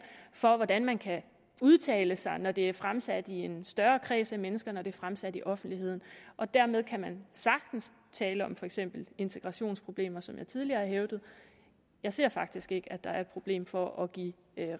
for hvordan man kan udtale sig når det er fremsat i en større kreds af mennesker når det er fremsat i offentligheden og dermed kan man sagtens tale om for eksempel integrationsproblemer som jeg tidligere har hævdet jeg ser faktisk ikke at der er et problem for at give